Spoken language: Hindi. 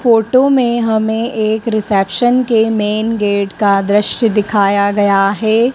फोटो में हमें एक रिसेप्शन के मेन गेट का दृश्य दिखाया गया है।